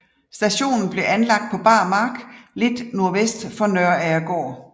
Stationen blev anlagt på bar mark lidt nordvest for Nøragergård